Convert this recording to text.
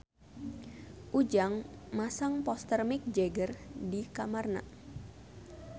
Ujang masang poster Mick Jagger di kamarna